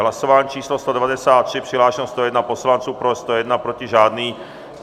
Hlasování číslo 193, přihlášeno 101 poslanců, pro 101, proti žádný.